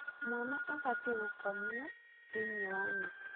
Mwana abatie gũkomio thĩinĩ wa neti.